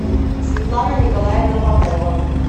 светлана николаевна попова